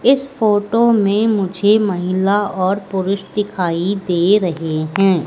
इस फोटो में मुझे महिला और पुरुष दिखाई दे रहे हैं।